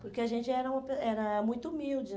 Porque a gente era uma era muito humilde, né?